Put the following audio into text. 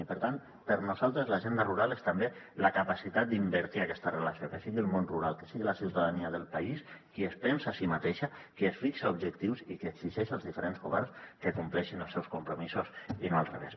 i per tant per nosaltres l’agenda rural és també la capacitat d’invertir aquesta relació que sigui el món rural que sigui la ciutadania del país qui es pensa a si mateixa qui es fixa objectius i qui exigeix als diferents governs que compleixin els seus compromisos i no al revés